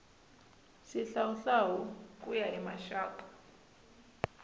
xihlawuhlawu ku ya hi rixaka